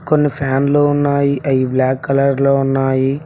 కొన్ని ఫ్యాన్లు ఉన్నాయి అవి బ్లాక్ కలర్ లో ఉన్నాయి.